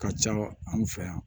Ka ca anw fɛ yan